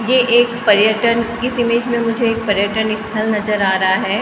यह एक पर्यटन इस इमेज में मुझे एक पर्यटन स्थल नजर आ रहा है अ --